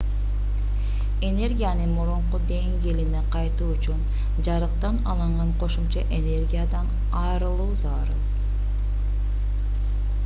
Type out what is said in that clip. энергиянын мурунку деңгээлине кайтуу үчүн жарыктан алынган кошумча энергиядан арылуу зарыл